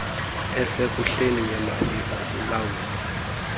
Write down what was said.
esekuhleni yemali ukulawulwa